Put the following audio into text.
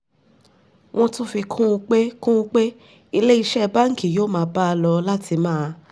wọ́n tún fi kún un pé kún un pé ilé iṣẹ́ báńkì yóò máa bá a lọ láti máa